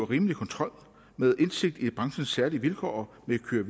og rimelig kontrol med indsigt i branchens særlige vilkår med køre